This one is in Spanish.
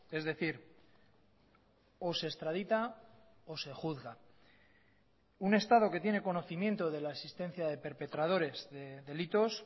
es decir o se extradita o se juzga un estado que tiene conocimiento de la existencia de perpetradores de delitos